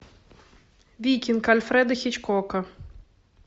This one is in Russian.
викинг альфреда хичкока